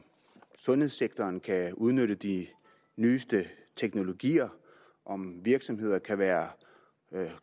sundhedssektoren kan udnytte de nyeste teknologier om virksomheder kan være